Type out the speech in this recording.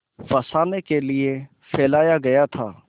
फँसाने के लिए फैलाया गया था